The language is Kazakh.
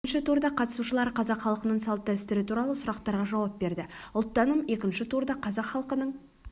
бірінші турда қатысушылар қазақ халқының салт-дәстүрі туралы сұрақтарға жауап берді ұлттаным екінші турда қазақ халқының